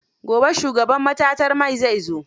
Gobe shugaban matatar man zai zo.